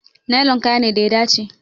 Nilon kaya ne da ya dace.